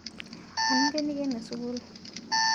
Anu ingeniken sukul